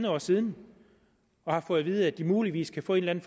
år siden og har fået at vide at de muligvis kan få en